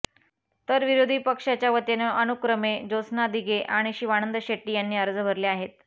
तर विरोधी पक्षाच्यावतीने अनुक्रमे जोत्स्ना दिघे आणि शिवानंद शेट्टी यांनी अर्ज भरले आहेत